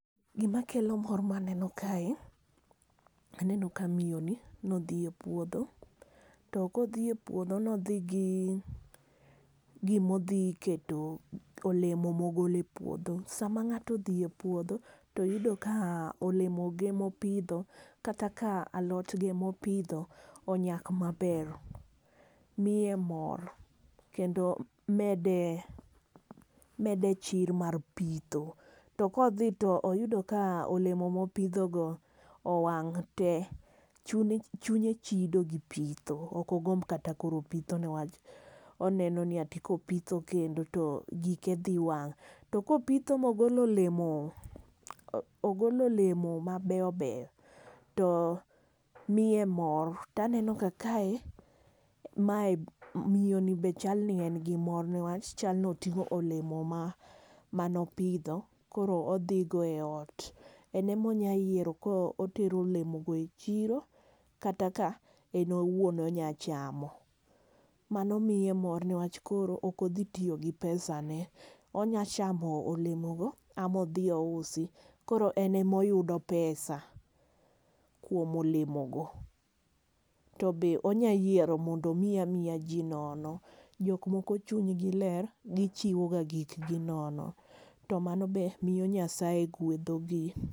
Gima kelo mor ma aneno kae, aneno ka miyo ni ne odhi e puodho. To kodhi e puodho ne odhi gi gima odhi keto olemo ma ogolo e puodho. Sama ng'ato odhi e puodho, to oyudo ka olemo ge mopidho, kata ka alot ge mopidho onyak maber, miye mor, kendo mede, mede chir mar pitho. To ka odhi to oyudo ka olemo ma opidho go owang' te, chune, chunye chido gi pitho. Ok ogomb kata koro pitho newach oneno ni ati kopitho kendo to gike dhi wang'. To ka opitho ma ogolo olemo, ogolo olemo mabeyo beyo, to miye mor. To aneno ka kae, mae, miyo ni be chal ni en gi mor. Newach chalni oting'o olemo ma mane opidho, koro odhi go e ot. En ema onyalo yiero ka otero olemo go e chiro. kata ka en owuon onyalo chamo. Mano miye mor newach koro ok ochi tiyo gi pesane. Onyalo chamo olemo go, ama odhi ousi. Koro en ema oyudo pesa kuom olemo go. To be onya yiero mondo omi amiya ji nono. Jok moko chuny gi ler, gichiwoga gik gi nono. To mano be miyo Nyasaye gwedhogi.